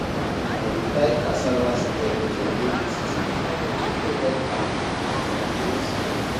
i dey tie cassava stem to wooden stick to protect am from strong breeze